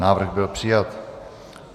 Návrh byl přijat.